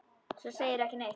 Svo segirðu ekki neitt.